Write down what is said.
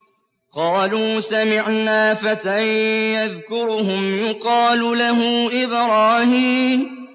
قَالُوا سَمِعْنَا فَتًى يَذْكُرُهُمْ يُقَالُ لَهُ إِبْرَاهِيمُ